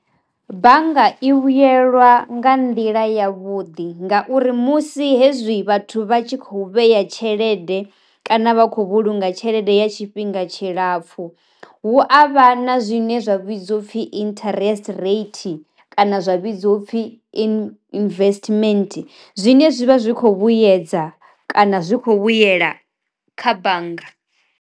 Bannga i vhuyelwa nga nḓila ya vhuḓi ngauri musi hezwi vhathu vha tshi khou vheya tshelede kana vha khou vhulunga tshelede ya tshifhinga tshi lapfu hu avha kana zwine zwa vhidziwa upfhi interest rate kana zwa vhidziwa upfhi investment zwine zwivha zwi kho vhuyedza kana zwi kho vhuyela kha bannga.